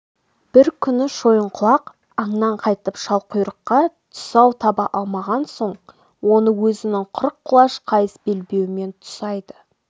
бір күні шойынқұлақ аңнан қайтып шалқұйрыққа тұсау таба алмаған соң оны өзінің қырық құлаш қайыс белбеуімен тұсайды